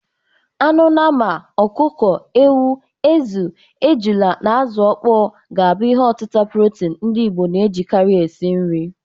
Anụ nnama, ọkụkọ, ewu, ezi, ejula na azu ọkpọ ga na-abụ ihi ọtịta protini ndị Igbo na-ejikarị esi nri.